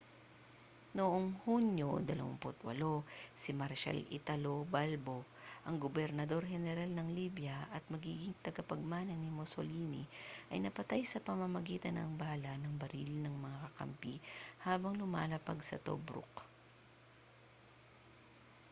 noong hunyo 28 si marshal italo balbo ang gobernador-heneral ng libya at magiging tagapagmana ni mussolini ay napatay sa pamamagitan ng bala ng baril ng mga kakampi habang lumalapag sa tobruk